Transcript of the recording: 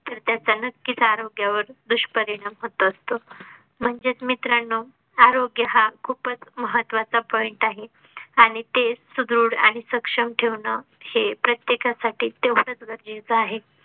तर त्याचा नक्कीच आरोग्या वर दुष्परिणाम होत असतो. म्हणजेच मीत्रांनो आरोग्य हा खूपच महत्त्वा चा point आहे आणि ते सुदृढ आणि सक्षम ठेवणं हे प्रत्येका साठी तेवढंच गरजेचं आहे.